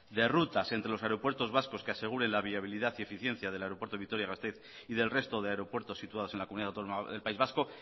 de rutas entre los aeropuertos vascos que aseguren la viabilidad y eficiencia del aeropuerto de vitoria gasteiz y del resto de aeropuertos situados en la comunidad autónoma del país vasco